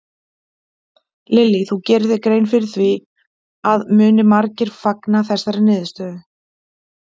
Lillý: Þú gerir þér grein fyrir því að muni margir fagna þessari niðurstöðu?